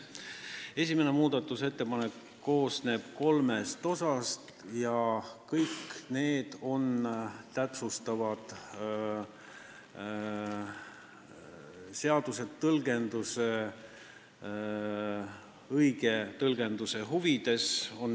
Esimene muudatusettepanek koosneb kolmest osast ja kõik need on täpsustavad, tehtud seaduse õige tõlgenduse huvides.